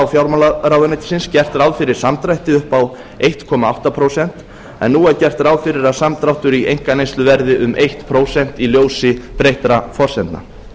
fjármálaráðuneytisins gert ráð fyrir samdrætti upp á einum komma átta prósent en nú er gert ráð fyrir að samdráttur í einkaneyslu verði um eitt prósent í ljósi breyttra forsendna